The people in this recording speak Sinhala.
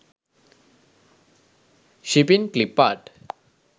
shipping clip art